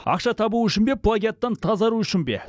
ақша табу үшін бе плагиаттан тазару үшін бе